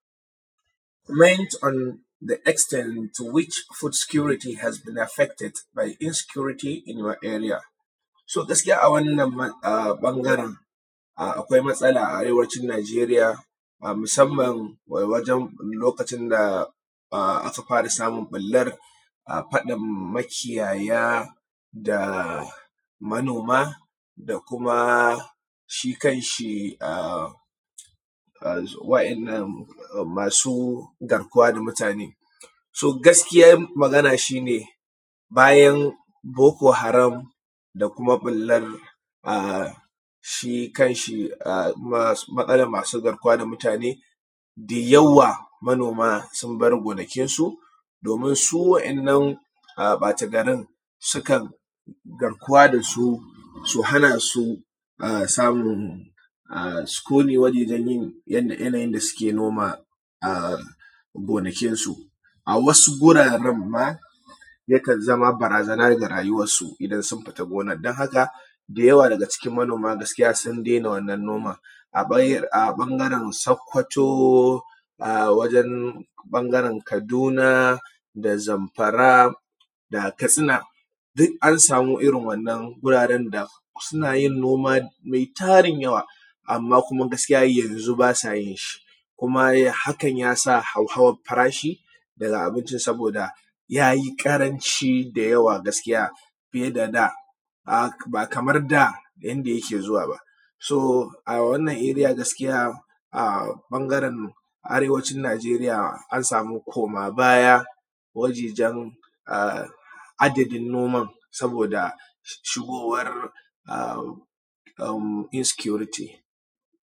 Meant on the extent to which food security effected by the insecurity in our area. To, gaskiya a wannan ɓangare akwai matsala a arewacin Nageriya musanman lokacin da aka fara samun ɓullar faɗan makiyaya da manoma da kuma shi kanshi su waɗannan masu garkuwa da mutane, so gaskiyan magana shi ne bayan boko haram da kuma ɓullar shi kanshi matsalan masu garkuwa da mutane da yawa manoma sun bar gonakinsu domin su waɗannan ɓatagarin sukan garkuwa da su, su hana su samun sukuni wajajen da suke noma a gonakinsu, a wasu guraren ma yakan zama barazana ga rayuwansu in sun fita gonan don haka da yawa daga cikin manoma sun dena wannan noman a ɓangaren sokoto. A wajen ɓangaren Kaduna da Zamfara da Katsina duk an sama irin wannan wuraren da suna yin noma me tarin yawa amma gaskiya yanzu ba sa yi kuma hakan ya sa hauhawan farashi daga abinci saboda ya yi ƙaranci da yawa gaskiya ba kamar da yanda yake zuwa ba, su a wannan area gaskiya a ɓangaren arewacin Nageriya an sama komabaya wajajen adadin noman saboda shigowar.